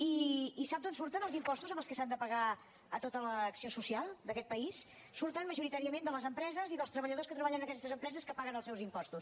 i sap d’on surten els impostos en què s’han de pagar tota l’acció social d’aquest país surten majoritàriament de les empreses i dels treballadors que treballen en aquestes empreses que paguen els seus impostos